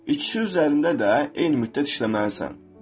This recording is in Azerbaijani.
İkisi üzərində də eyni müddət işləməlisən.